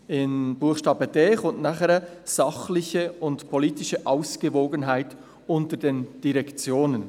Im Buchstaben d folgt nachher: «sachliche und politische Ausgewogenheit unter den Direktionen».